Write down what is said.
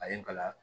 A ye n kalan